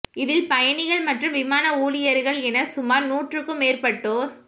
இதில் பயணிகள் மற்றும் விமான ஊழியர்கள் என சுமார் நூற்றுக்கும் மேற்பட்டோர்